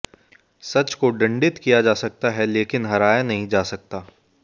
सच को दंडित किया जा सकता है लेकिन हराया नहीं जा सकता